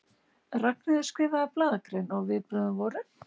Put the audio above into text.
Ragnheiður skrifaði blaðagrein og viðbrögðin voru?